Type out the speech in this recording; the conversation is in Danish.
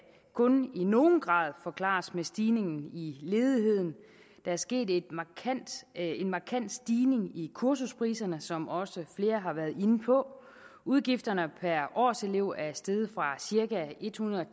kun i nogen grad forklares med stigningen i ledigheden der er sket en markant stigning i kursuspriserne som også flere har været inde på udgifterne per årselev er steget fra cirka ethundrede og